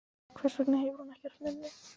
Hvers vegna hefur hún ekkert minni?